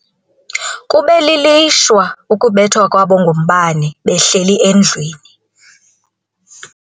Kube lilishwa ukubethwa kwabo ngumbane behleli endlwini.